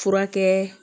Furakɛ